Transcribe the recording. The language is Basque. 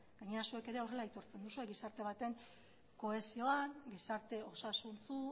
gainera zuek ere horrela aitortzen duzue gizarte baten kohesioan gizarte osasuntsu